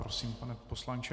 Prosím, pane poslanče.